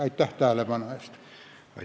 Aitäh tähelepanu eest!